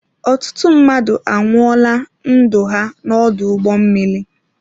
Ọtụtụ mmadụ anwụọla ndụ ha n'ọdụ ụgbọ mmiri.